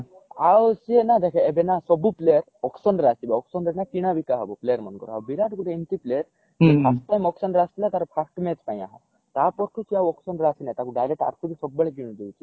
ଆଉ ସିଏ ନା ଦେଖେ ଏବେ ନା ସବୁ player auction ରେ ଆସିବେ auction ରେ ନ କିଣା ବିକା ହବ player ମାନଙ୍କର ଆଉ ବିରାଟ ଗୋଟେ ଏମିତି player ସୋଏ first time auction ରେ ଆସିଥିଲା ତାର first match ପାଇଁ ତାପରଠୁ ସେ ଆଉ auction ରେ ଆସିନହି ତାକୁ direct ସବୁ ବେଳେ କିଣି ଦଉଛି